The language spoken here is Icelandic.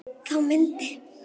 Þá myndi